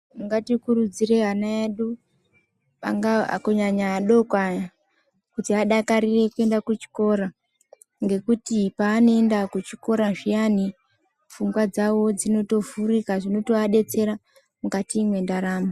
Ngatikurudzire ana edu angaa kunyanya adoko aya kuti adakarire kuenda kuchikora ngekuti paanoenda kuchikora zviyani pfungwa dzawo dzinotovhurika zvinoadetsera mukati mwendaramo.